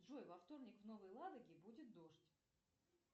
джой во вторник в новой ладоге будет дождь